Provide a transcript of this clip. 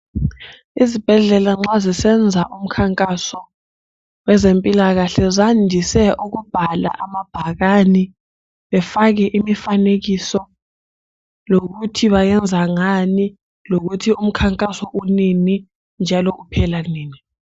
Izibhedlela nxa zisenza umkhankaso wezempilakahle zandise ukubhala amabhakani befake imifanekiso lokuthi bayenza ngani, lokuthi umkhankaso unini njalo uphela nini.